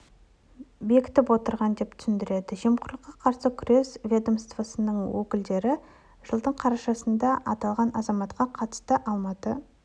бекітіп отырған деп түсіндірді жемқорлыққа қарсы күрес ведомствосының өкілдері жылдың қарашасында аталған азаматқа қатысты алматы